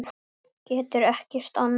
Getur ekkert annað.